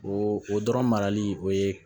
O o dɔrɔn marali o ye